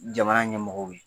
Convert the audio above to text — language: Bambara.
Jamana ɲɛmɔgɔw ye.